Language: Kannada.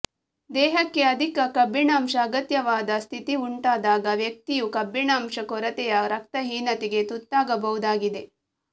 ದೇಹಕ್ಕೆ ಅಧಿಕ ಕಬ್ಬಿಣಾಂಶ ಅಗತ್ಯವಾದ ಸ್ಥಿತಿ ಉಂಟಾದಾಗ ವ್ಯಕ್ತಿಯು ಕಬ್ಬಿಣಾಂಶ ಕೊರತೆಯ ರಕ್ತಹೀನತೆಗೆ ತುತ್ತಾಗಬಹುದಾಗಿದೆ